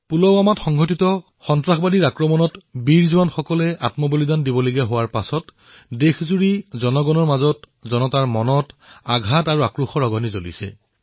পুলৱামাৰ সন্ত্ৰাসবাদীৰ আক্ৰমণত বীৰ জোৱানসকলৰ অন্ত্যেষ্টিক্ৰিয়াৰ পিছত দেশবাসীৰ মন আঘাত আৰু আক্ৰোশে জৰ্জৰিত কৰিছে